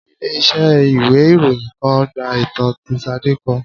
Ilé iṣẹ́ ìwé ìròyìn kan gba ìtàn tí Sade kọ